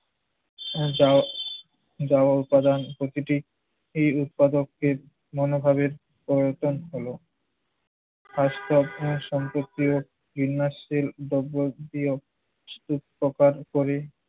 যাও যা উপাদান প্রকৃতি এ উৎপাদকের মনোভাবের পরিবর্তন হলো। খাস সম্পত্তি ও বিন্যাসের প্রিয় সুস্থতার পরে